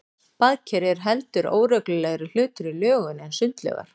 Baðker eru heldur óreglulegri hlutir í lögun en sundlaugar.